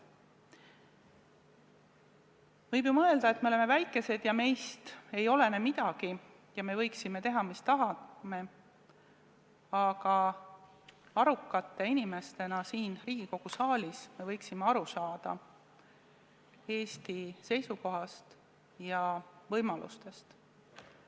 Võib ju mõelda, et me oleme väike riik ja meist ei olene midagi ja me võiksime teha, mis tahame, aga arukate inimestena siin Riigikogu saalis me võiksime aru saada Eesti võimalustest.